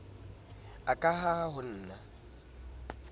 a ka ha ho na